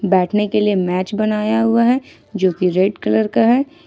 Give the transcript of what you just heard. बैठने के लिए मैच बनाया हुआ है जो कि रेड कलर का है।